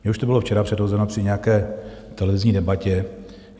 Mně už to bylo včera předhozeno při nějaké televizní debatě.